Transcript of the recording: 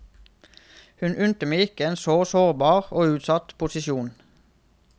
Hun unte meg ikke en så sårbar og utsatt posisjon.